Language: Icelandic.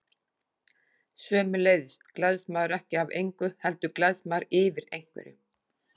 Sömuleiðis gleðst maður ekki af engu, heldur gleðst maður yfir einhverju.